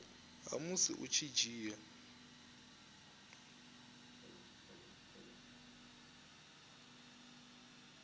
ha musi u tshi dzhia